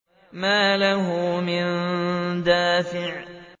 مَّا لَهُ مِن دَافِعٍ